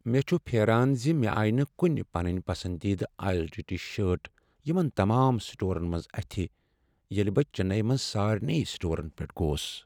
مےٚ چھُ پھیران ز مےٚ آیہ نہ کنہ پنٕنۍ پسندیدٕ آیزوڈ ٹی شرٹ یمن تمام سٹورن منٛز اتھِ یوٕ ییٚلہ بہ چننے منز سارنٕے سٹورن پیٹھ گوس۔